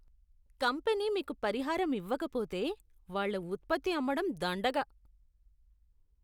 Company మీకు పరిహారం ఇవ్వకపోతే, వాళ్ళ ఉత్పత్తి అమ్మడం దండగ.